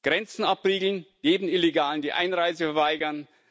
Grenzen abriegeln, jedem Illegalen die Einreise verweigern.